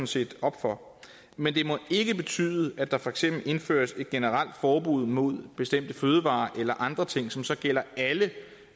set op for men det må ikke betyde at der for eksempel indføres et generelt forbud mod bestemte fødevarer eller andre ting som så gælder alle